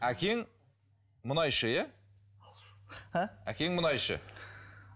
әкең мұнайшы иә әкең мұнайшы